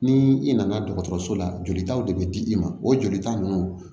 Ni i nana dɔgɔtɔrɔso la jolitaw de bɛ di i ma o joli ta ninnu